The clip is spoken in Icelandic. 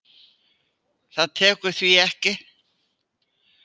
Það tekur því ekki.